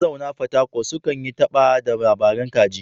Mazauna fatakwal sukan yi ta ba da labaran kaji.